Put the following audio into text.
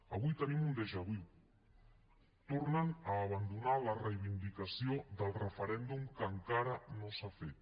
avui tenim un déjà vu tornen a abandonar la reivindicació del referèndum que encara no s’ha fet